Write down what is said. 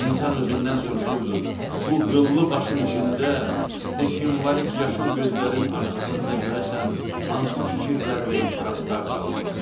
İnsan özündən soruşurdu: bu qıllı başın içində, bu simvolik yaşıl gözlərin arxasında görəsən hansı fikirlər və ehtiraslar dalğalanır?